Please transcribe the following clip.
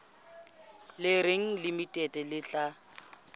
le reng limited le tla